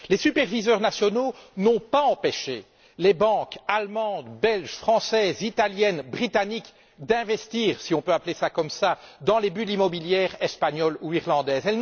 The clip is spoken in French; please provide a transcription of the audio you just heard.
Les superviseurs nationaux n'ont pas empêché les banques allemandes, belges, françaises, italiennes, britanniques d'investir si l'on peut parler d'investissements dans les bulles immobilières espagnole ou irlandaise.